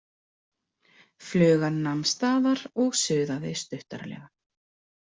Flugan nam staðar og suðaði stuttaralega.